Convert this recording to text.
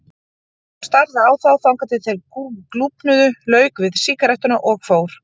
Hún starði á þá þangað til þeir glúpnuðu, lauk við sígarettuna, fór.